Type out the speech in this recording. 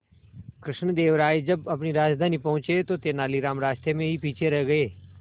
कृष्णदेव राय जब अपनी राजधानी पहुंचे तो तेलानीराम रास्ते में ही पीछे रह गए